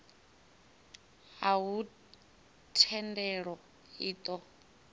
a huna thendelo i ṱo